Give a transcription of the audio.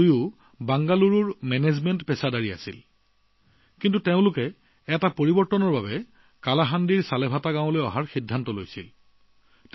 দুয়োজনেই বেংগালুৰুৰ মেনেজমেণ্ট পেছাদাৰী আছিল যদিও চাকৰি বাদ দি কালাহাণ্ডীৰ ছালেভেটা গাঁৱলৈ অহাৰ সিদ্ধান্ত ললে